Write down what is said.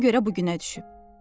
Ona görə bu günə düşüb.